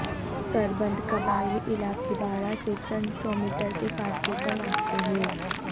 سربند قبائلی علاقے باڑہ سے چند سو میٹر کے فاصلے پر واقع ہے